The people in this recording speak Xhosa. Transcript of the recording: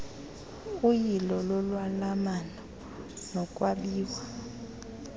uyilo lolwalamano nokwabiwa